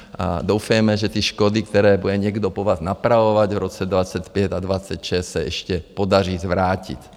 Doufejme, že ty škody, které bude někdo po vás napravovat v roce 2025 a 2026, se ještě podaří zvrátit.